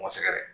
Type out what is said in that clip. Ma sɛgɛn dɛ